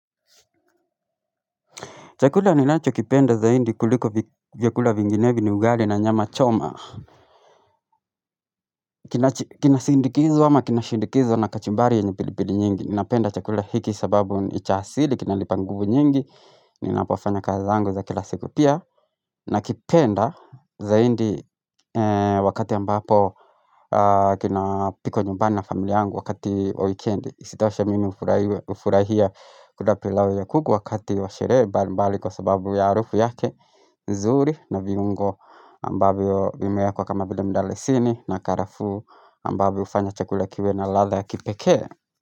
Chakula ninachokipenda zaidi kuliko vi vyakula vinginevyo ni ugali na nyama choma Kinasindikizwa ama kinashindikizwa na kachumbari yenye pilipili nyingi Ninapenda chakula hiki sababu nicha asili, kinalipa nguvu nyingi Ninapafanya kazi zangu za kila siku pia nakipenda zaidi wakati ambapo kina pikwa nyumbani na familia yangu wakati wa wikendi Sitoshe mimi hufuhiwe hufurahia kula pilau ya kuku wakati washerehe mbali mbali kwa sababu ya harufu yake nzuri na viungo ambavyo vimeekwa kama vile mdalasini na karaafu ambavyo hufanya chakule kiwe na latha ya kipekee.